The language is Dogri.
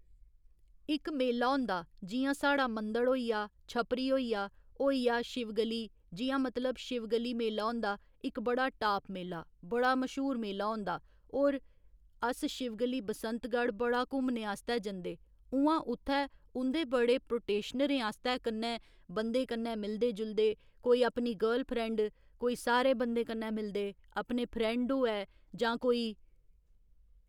इक मेला होंदा जि'यां साढ़ा मंदढ़ होई आ छपरी होई आ होई आ शिवगली जि'यां मतलब शिवगली मेला होंदा इक बड़ा टाप मेला बड़ा मश्हूर मेला होंदा होर अस शिवगली बसंतगढ़ बड़ा घूमने आस्तै जंदे उ'आं उत्थै उं'दे बड़े प्रोटेशनरें आस्तै कन्नै बंदे कन्नै मिलदे जुलदे कोई अपनी गर्लफ्रैंड कोई सारे बंदे कन्नै मिलदे अपने फ्रैंड होऐ जां कोई